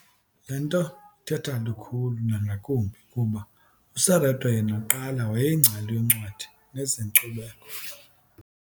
"Le nto ithetha lukhulu nangakumbi kuba uSerote yena kuqala wayeyingcali yoncwadi nezenkcubeko.